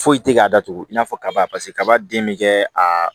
Foyi tɛ k'a datugu i n'a fɔ kaba pase kaba den bɛ kɛ a